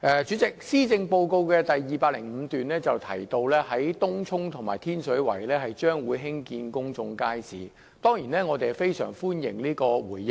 主席，施政報告第205段提到東涌和天水圍將會興建公眾街市，我們當然非常歡迎政府這個回應。